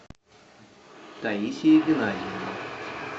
таисия геннадьевна